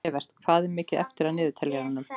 Evert, hvað er mikið eftir af niðurteljaranum?